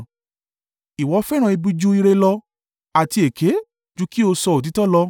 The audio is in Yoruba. Ìwọ fẹ́ràn ibi ju ìre lọ, àti èké ju kí ó sọ òtítọ́ lọ.